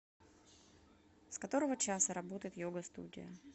с которого часа работает йога студия